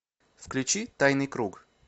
включи тайный круг